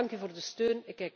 Ik dank u voor de steun.